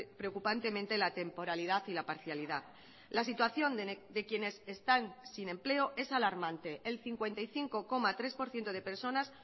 preocupantemente la temporalidad y la parcialidad la situación de quienes están sin empleo es alarmante el cincuenta y cinco coma tres por ciento de personas